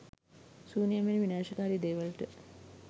සූනියම් වැනි විනාශකාරි දේ වලට